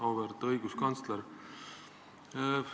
Auväärt õiguskantsler!